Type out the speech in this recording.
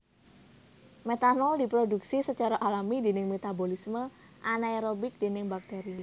Metanol diprodhuksi sacara alami déning metabolisme anaerobik déning bakteri